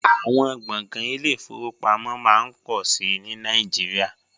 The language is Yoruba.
Àwọn gbọ̀ngàn ile-ìfowópamọ́ máa ń pọ̀ sí i ní Nàìjíríà